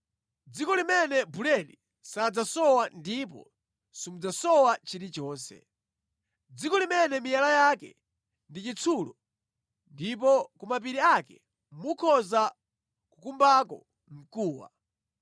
dziko limene buledi sadzasowa ndipo simudzasowa chilichonse; dziko limene miyala yake ndi chitsulo ndipo ku mapiri ake mukhoza kukumbako mkuwa.